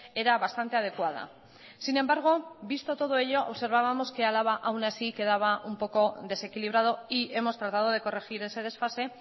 era bastante adecuada sin embargo visto todo ello observábamos que álava aun así quedaba un poco desequilibrado y hemos tratado de corregir ese desfase